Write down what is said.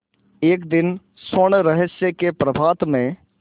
एक दिन स्वर्णरहस्य के प्रभात में